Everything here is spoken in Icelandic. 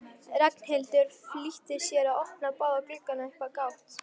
Ragnhildur flýtti sér að opna báða gluggana upp á gátt.